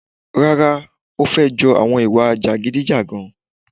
Rara, ò fe jo awon ìwà jàgídíjàgan.